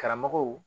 Karamɔgɔw